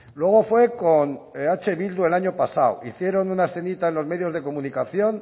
luego fue con eh bildu el año pasado hicieron una escenita en los medios de comunicación